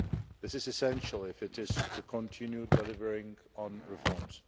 This is essential if it is to continue delivering on reforms.